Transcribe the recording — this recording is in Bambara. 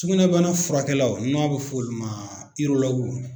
Sugunɛbana furakɛlaw n'a bɛ fɔ olu ma